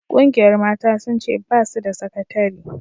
Ƙungiyar mata sun ce ba su da sakatari